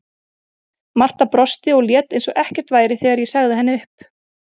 Marta brosti og lét eins og ekkert væri þegar ég sagði henni upp.